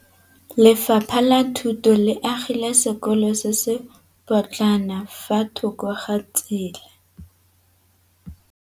Lefapha la Thuto le agile sekôlô se se pôtlana fa thoko ga tsela.